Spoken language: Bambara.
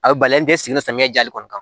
A bɛ balen tɛ sigilen samiya jali kɔni kan